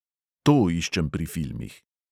To iščem pri filmih.